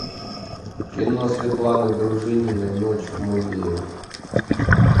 кино светланы дружининой ночь в музее